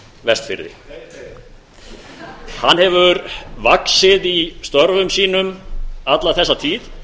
vestfirði hann hefur vaxið í störfum sínum alla þessa tíð